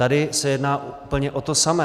Tady se jedná úplně o to samé.